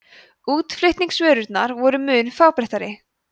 útflutningsvörurnar voru mun fábreyttari